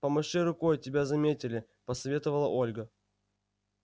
помаши рукой тебя заметили посоветовала ольга